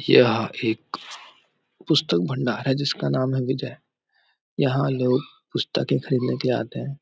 यह एक पुस्तक भण्डार है जिसका नाम है विजय यहाँ लोग पुस्तके खरीदने के लिए आते है